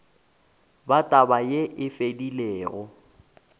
ba taba yeo e fedilego